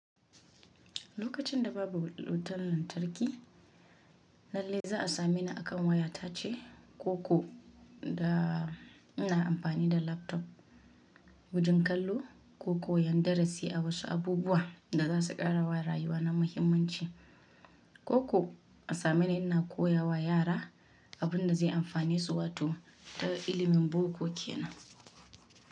Lokacin da babu wutar lantarki, lalle za a same ni a kan wayata ce, ko ko da ina amfani da laptop wajen kallo ko koyan darasi a wasu abubuwa da za su ƙara wa rayuwa na muhimmanci. Ko ko a same ni ina koya wa yara abunda zai amfane su wato da ilimin boko kenan.